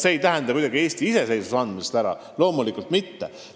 See ei tähenda muidugi Eesti iseseisvusest loobumist – loomulikult mitte.